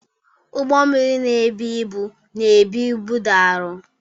Ụgbọ mmiri na-ebu ibu na-ebu ibu dị arọ